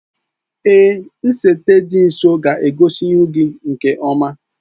Èé, nsete dị nso ga-egosi ihu gị nke ọma.